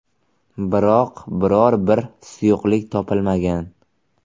Biroq, biror bir suyuqlik topilmagan.